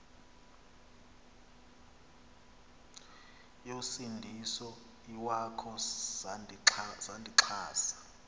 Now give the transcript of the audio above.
yosindiso iwakho sandixhasa